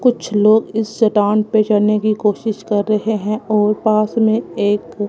कुछ लोग इस चट्टान पे चढ़ने की कोशिश कर रहे हैं और पास में एक--